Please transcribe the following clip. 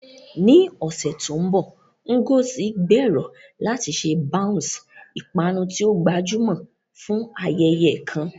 Ní ọ̀sẹ̀ tó ń bọ̀, Ngozi gbèrò láti ṣe bounce, ìpanu tí ó gbajúmọ̀, fún ayẹyẹ kan.